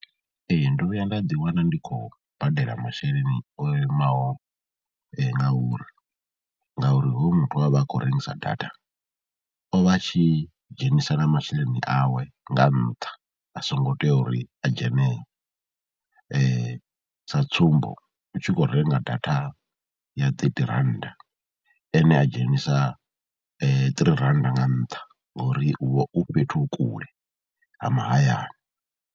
Ee ndo vhuya nda ḓiwana ndi khou badela masheleni o imaho nga uri ngauri hoyu muthu we a vha a khou rengisa data o vha a tshi dzhenisela masheleni awe nga nṱha, a songo tea uri a dzhene sa tsumbo, u tshi khou renga data ya ṱethi rannda ene a dzhenisa ṱirii rannda nga ntha ngori u vha u fhethu kule ha mahayani.